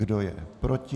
Kdo je proti?